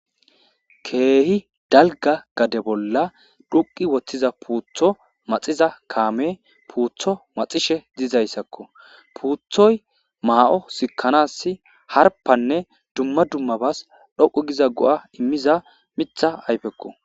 Keehi dalga gade bolla dhuqi woththiza puutho maxiza kaame puutho maxishe diizayssakko puuthoy maa'o sikkanass harpanne dumma dummabas dhoqu giza go'a immiza mitha ayfekko.